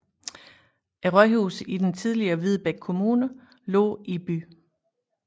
Rådhuset i den tidligere Hvidebæk Kommune lå i byen